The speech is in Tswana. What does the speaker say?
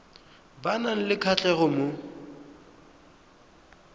ba nang le kgatlhego mo